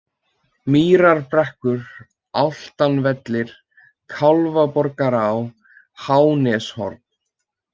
Mýrarbrekkur, Álftavellir, Kálfborgará, Háaneshorn